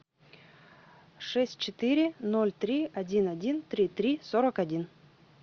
шесть четыре ноль три один один три три сорок один